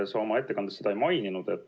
Sa oma ettekandes seda ei maininud.